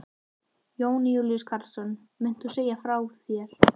Jón Júlíus Karlsson: Munt þú segja af þér?